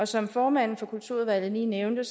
som formanden for kulturudvalget lige nævnte